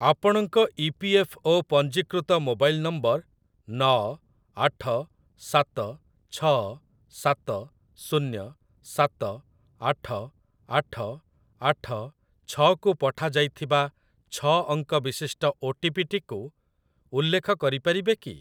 ଆପଣଙ୍କ ଇପିଏଫ୍ଓ ପଞ୍ଜୀକୃତ ମୋବାଇଲ୍ ନମ୍ବର ନଅ ଆଠ ସାତ ଛଅ ସାତ ଶୁନ୍ୟ ସାତ ଆଠ ଆଠ ଆଠ ଛଅ କୁ ପଠାଯାଇଥିବା ଛଅ ଅଙ୍କ ବିଶିଷ୍ଟ ଓଟିପି ଟିକୁ ଉଲ୍ଲେଖ କରିପାରିବେ କି?